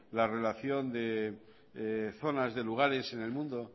la relación de zonas de lugares en el mundo